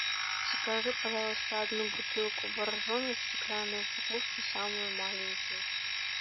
закажи пожалуйста одну бутылку боржоми в стеклянной упаковке самую маленькую